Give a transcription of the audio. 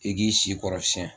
I k'i si kɔrɔsiyɛn